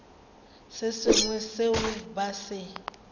se sengwe seo ba se